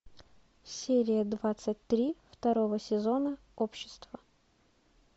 серия двадцать три второго сезона общество